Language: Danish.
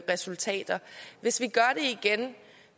resultater hvis vi gør det igen